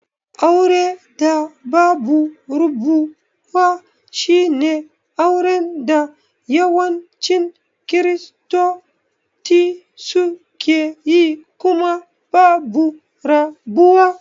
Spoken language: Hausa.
Auren da babu rabuwa shine auren da yawancin kiristoti sukeyi kuma babu rabuwa.